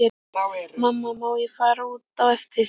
Mamma má ég fara út á eftir?